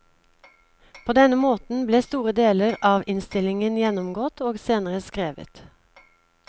På denne måten ble store deler av innstillingen gjennomgått og senere skrevet.